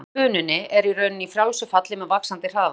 Vatnið í bununni er í rauninni í frjálsu falli með vaxandi hraða.